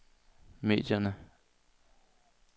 medierne